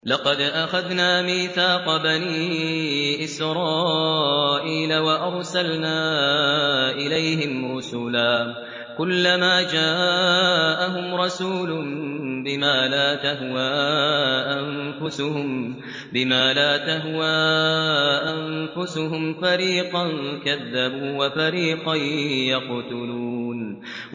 لَقَدْ أَخَذْنَا مِيثَاقَ بَنِي إِسْرَائِيلَ وَأَرْسَلْنَا إِلَيْهِمْ رُسُلًا ۖ كُلَّمَا جَاءَهُمْ رَسُولٌ بِمَا لَا تَهْوَىٰ أَنفُسُهُمْ فَرِيقًا كَذَّبُوا وَفَرِيقًا يَقْتُلُونَ